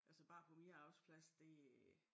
Altså bare på min arbejdsplads det